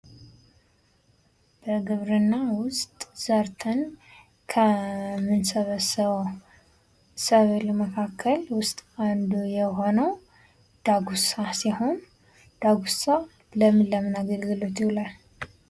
ከግብርና ውስጥ ሰርተን ከምንሰበስበው ሰብል መካከል ውስጥ አንዱ የሆገው ዳጉሳ ሲሆን ዳጉሳ ለምን ለምን አገልግሎት ይውላል?